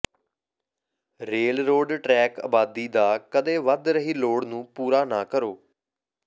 railroad track ਆਬਾਦੀ ਦਾ ਕਦੇ ਵਧ ਰਹੀ ਲੋੜ ਨੂੰ ਪੂਰਾ ਨਾ ਕਰੋ